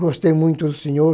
Gostei muito do senhor.